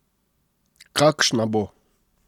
Kakšna bo?